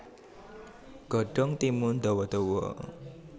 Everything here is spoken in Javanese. Godhong timun dawa dawa